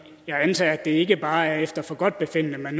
jeg antager at det ikke bare er efter forgodtbefindende man